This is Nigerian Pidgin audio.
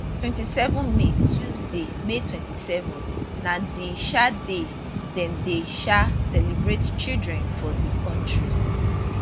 27 may tuesday may 27 na di um day dem dey um celebrate children for di kontri